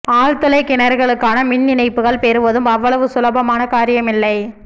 ஆழ்துளைக் கிணறுகளுக்கான மின் இணைப்புகள் பெறுவதும் அவ்வளவு சுலபமான காரியமில்லை